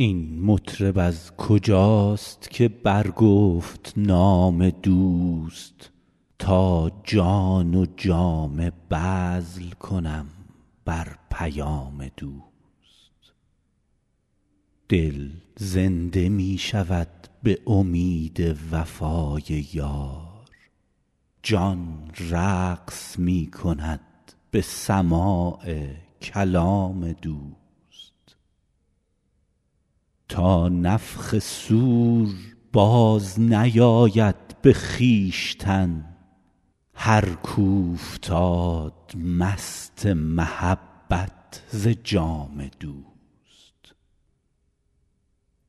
این مطرب از کجاست که برگفت نام دوست تا جان و جامه بذل کنم بر پیام دوست دل زنده می شود به امید وفای یار جان رقص می کند به سماع کلام دوست تا نفخ صور بازنیاید به خویشتن هر کاو فتاد مست محبت ز جام دوست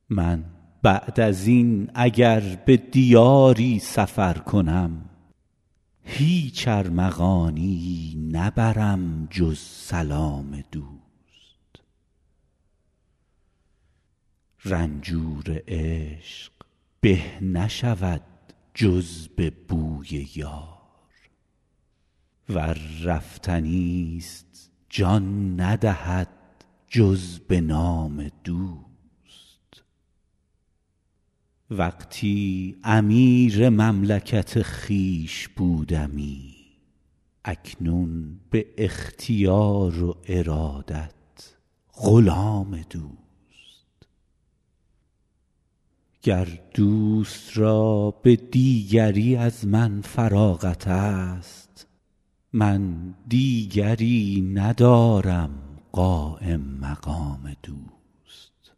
من بعد از این اگر به دیاری سفر کنم هیچ ارمغانیی نبرم جز سلام دوست رنجور عشق به نشود جز به بوی یار ور رفتنی ست جان ندهد جز به نام دوست وقتی امیر مملکت خویش بودمی اکنون به اختیار و ارادت غلام دوست گر دوست را به دیگری از من فراغت ست من دیگری ندارم قایم مقام دوست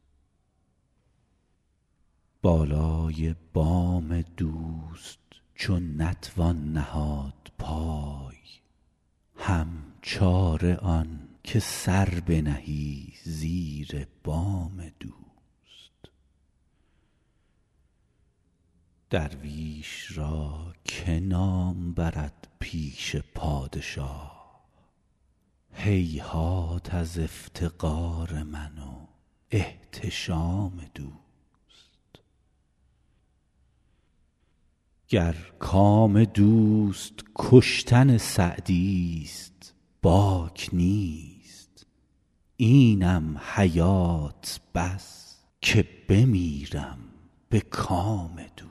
بالای بام دوست چو نتوان نهاد پای هم چاره آن که سر بنهی زیر بام دوست درویش را که نام برد پیش پادشاه هیهات از افتقار من و احتشام دوست گر کام دوست کشتن سعدی ست باک نیست اینم حیات بس که بمیرم به کام دوست